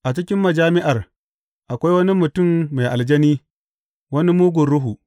A cikin majami’ar, akwai wani mutum mai aljani, wani mugun ruhu.